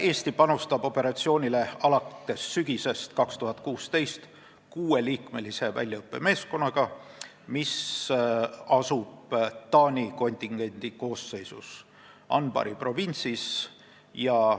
Eesti panustab operatsiooni alates sügisest 2016 kuueliikmelise väljaõppemeeskonnaga, mis asub Taani kontingendi koosseisus Anbari provintsis.